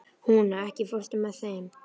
Húna, ekki fórstu með þeim?